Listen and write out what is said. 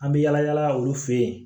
An bɛ yala yala olu fɛ yen